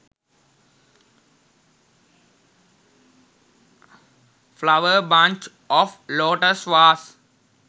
flower bunch of lotus vase